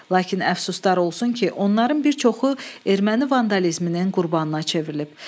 Lakin əfsuslar olsun ki, onların bir çoxu erməni vandalizminin qurbanına çevrilib.